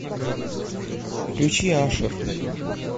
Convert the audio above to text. включи ашер